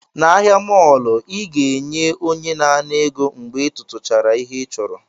N'ahịa mọọlụ, ị ga-enye onye na-ana ego mgbe ị tụtụchara ihe ị chọrọ